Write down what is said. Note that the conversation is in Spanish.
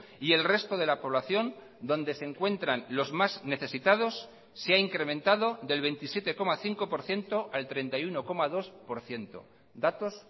y el resto de la población donde se encuentran los más necesitados se ha incrementado del veintisiete coma cinco por ciento al treinta y uno coma dos por ciento datos